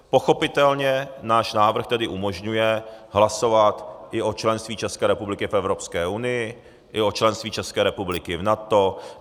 Pochopitelně náš návrh tedy umožňuje hlasovat i o členství České republiky v Evropské unii i o členství České republiky v NATO.